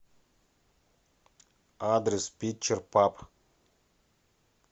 адрес питчер паб